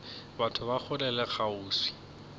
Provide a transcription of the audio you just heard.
batho ba kgole le kgauswi